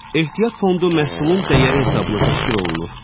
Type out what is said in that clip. Ehtiyat fondu məhsulun dəyəri hesabına təşkil olunur.